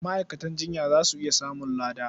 Ma'aikatan jinya za su iya samun lada.